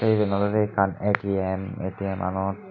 tey eban oloday ekan atm atm manot.